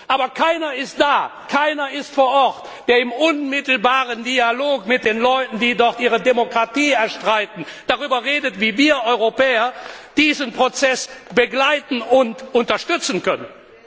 Aber keiner ist da, keiner ist vor Ort, der im unmittelbaren Dialog mit den Leuten, die dort ihre Demokratie erstreiten, darüber redet, wie wir Europäer diesen Prozess begleiten und unterstützen können.